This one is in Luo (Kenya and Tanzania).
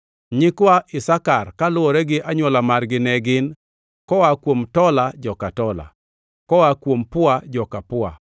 Nyikwa Isakar kaluwore gi anywola margi ne gin: koa kuom Tola, joka Tola; koa kuom Pua, joka Pua;